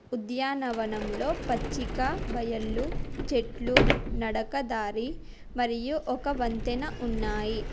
ఉద్యాన వనంలో పచ్చిక బయళ్ళు చెట్లు నడకదారి మరియు ఒక వంతెన ఉన్నాయి.